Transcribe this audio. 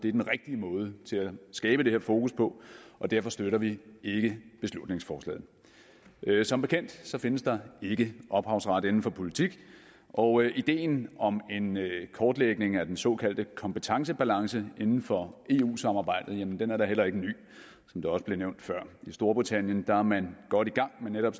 er den rigtige måde at skabe det her fokus på og derfor støtter vi ikke beslutningsforslaget som bekendt findes der ikke ophavsret inden for politik og ideen om en kortlægning af den såkaldte kompetencebalance inden for eu samarbejdet er da heller ikke ny som det også blev nævnt før i storbritannien er man godt i gang med netop